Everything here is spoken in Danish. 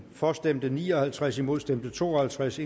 for stemte ni og halvtreds imod stemte to og halvtreds